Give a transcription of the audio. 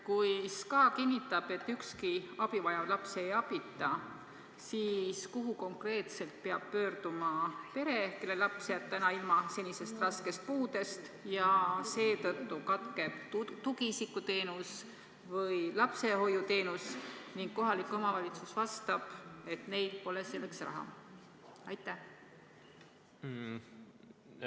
Kui SKA kinnitab, et ükski abivajav laps ei jää abita, siis kuhu konkreetselt peab pöörduma pere, kelle laps jääb ilma seni määratud raskest puudest, mistõttu katkeb tugiisiku- või lapsehoiuteenus, ning kohalik omavalitsus vastab, et neil pole selleks raha?